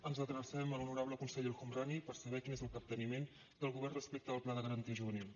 ens adrecem a l’honorable conseller el homrani per saber quin és el capteniment del govern respecte del pla de garantia juvenil